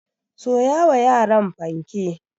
Soya wa yaran fanke.